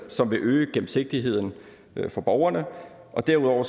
som vil øge gennemsigtigheden for borgerne derudover